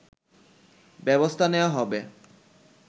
ব্যবস্থা নেওয়া হবে